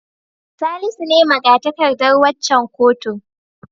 Salisu ne maga-takardar waccan kotun.